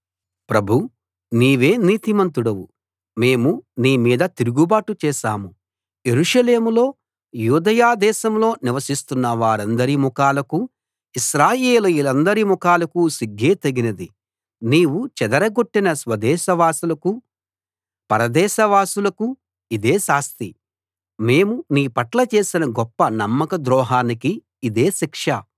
ప్రభూ నీవే నీతిమంతుడవు మేము నీ మీద తిరుగుబాటు చేశాము యెరూషలేములో యూదయ దేశంలో నివసిస్తున్న వారందరి ముఖాలకు ఇశ్రాయేలీయులందరి ముఖాలకు సిగ్గే తగినది నీవు చెదరగొట్టిన స్వదేశవాసులకు పర దేశవాసులకు ఇదే శాస్తి మేము నీ పట్ల చేసిన గొప్ప నమ్మక ద్రోహానికి ఇదే శిక్ష